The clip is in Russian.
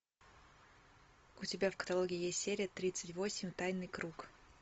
у тебя в каталоге есть серия тридцать восемь тайный круг